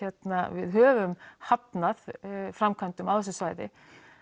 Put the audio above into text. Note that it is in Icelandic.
við höfum hafnað framkvæmdum á þessu svæði